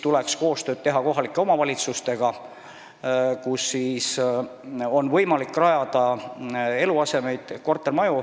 Tuleks teha koostööd kohalike omavalitsustega, et oleks võimalik rajada eluasemeid, kortermaju,